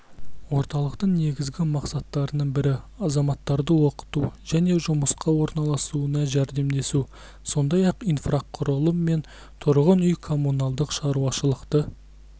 орталықтың негізгі мақсаттарының бірі азаматтарды оқыту және жұмысқа орналасуына жәрдемдесу сондай-ақ инфрақұрылым мен тұрғын үй-коммуналдық шарушылықты